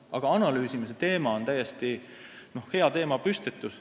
Aga analüüsimise küsimus on hea teemapüstitus.